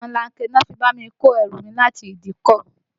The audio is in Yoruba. Omolanke ni wọ́n fi bá mi kó ẹrù mi láti ìdíkọ̀